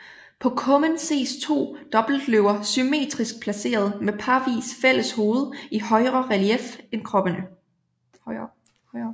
På kummen ses to dobbeltløver symmetrisk placeret med parvis fælleshoved i højere relief end kroppene